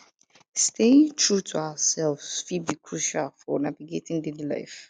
staying true to ourselves fit be crucial for navigating daily life